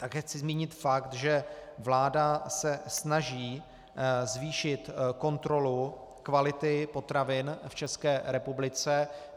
Také chci zmínit fakt, že vláda se snaží zvýšit kontrolu kvality potravin v České republice.